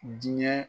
Diinɛ